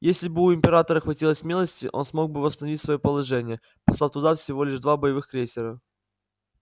если бы у императора хватило смелости он смог бы восстановить своё положение послав туда всего лишь два боевых крейсера